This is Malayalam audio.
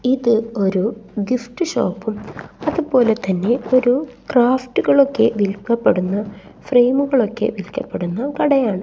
ഇത് ഒരു ഗിഫ്റ്റ് ഷോപ്പും അതുപോലെ തന്നെ ഒരു ക്രാഫ്റ്റുകൾ ഒക്കെ വിൽക്കപ്പെടുന്ന ഫ്രെയിമുകൾ ഒക്കെ വിൽക്കപ്പെടുന്ന ഒരു കടയാണ്.